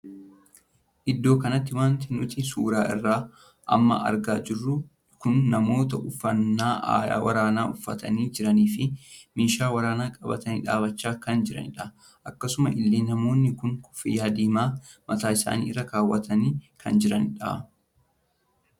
Iddoo kanatti wanti nuti suuraa isaa amma argaa jirru kun namoota uffannaa waraanaa uffatanii jiranii fi meeshaa waraanaa qabatanii dhaabbachaa kan jiranidha. akkasuma illee namoonni kun koffiyyaa diimaa mataa isaanii irra kaawwatanii kan jiraniidha.